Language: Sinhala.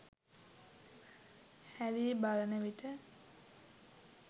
හැරී බලන විට